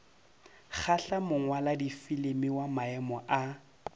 kgahla mongwaladifilimi wa maemo a